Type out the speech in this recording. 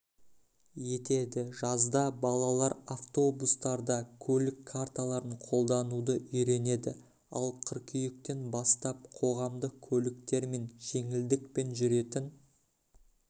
етеді жазда балалар автобустарда көлік карталарын қолдануды үйренеді ал қыркүйектен бастап қоғамдық көліктермен жеңілдікпен жүретін